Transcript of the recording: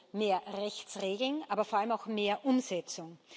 Also mehr Rechtsregeln, aber vor allem auch mehr Umsetzung.